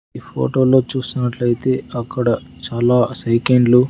ఈ ఫోటోలో చూసినట్లయితే అక్కడ చాలా సైకిండ్లు .